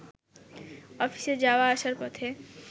অফিসে যাওয়া-আসার পথে